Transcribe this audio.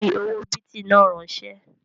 Fi owó bìtì náà ránsẹ́!